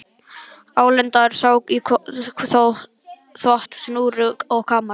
Álengdar sá í þvott á snúru og kamar.